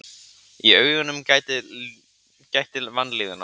Í augunum gætti vanlíðunar.